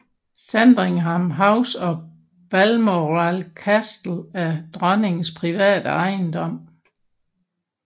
Sandringham House og Balmoral Castle er dronnings private ejendom